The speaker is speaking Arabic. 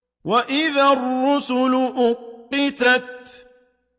وَإِذَا الرُّسُلُ أُقِّتَتْ